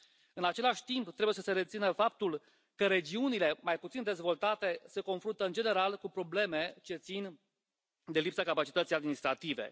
În același timp, trebuie să se rețină faptul că regiunile mai puțin dezvoltate se confruntă, în general, cu probleme ce țin de lipsa capacității administrative.